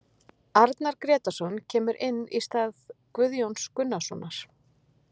Arnar Grétarsson kemur inn í stað Guðjóns Gunnarssonar.